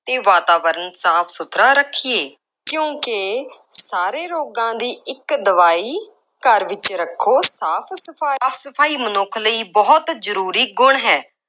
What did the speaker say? ਅਤੇ ਵਾਤਾਵਰਨ ਸਾਫ ਸੁਥਰਾ ਰੱਖੀਏ। ਕਿਉਂਕਿ ਸਾਰੇ ਰੋਗਾਂ ਦੀ ਇੱਕ ਦਵਾਈ, ਘਰ ਵਿੱਚ ਰੱਖੋ ਸਾਫ ਸਫਾਈ। ਸਾਫ ਸਫਾਈ ਮਨੁੱਖ ਲਈ ਬਹੁਤ ਜ਼ਰੂ੍ਰੀ ਗੁਣ ਹੈ।